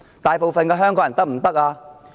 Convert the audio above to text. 大部分香港人可以嗎？